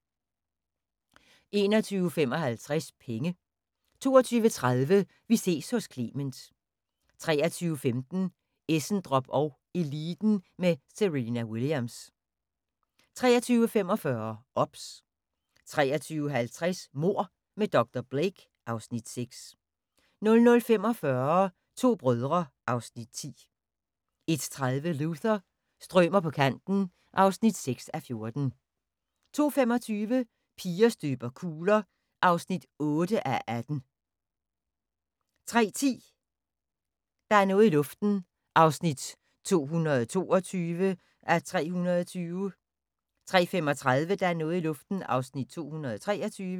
21:55: Penge 22:30: Vi ses hos Clement 23:15: Essendrop & Eliten med Serena Williams 23:45: OBS 23:50: Mord med dr. Blake (Afs. 6) 00:45: To brødre (Afs. 10) 01:30: Luther – strømer på kanten (6:14) 02:25: Piger støber kugler (8:18) 03:10: Der er noget i luften (222:320) 03:35: Der er noget i luften (223:320)